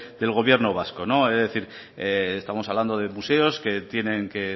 del gobierno vasco es decir estamos hablando de museos que tienen que